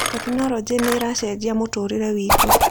Tekinoronjĩ nĩ ĩracenjia mũtũũrĩre witũ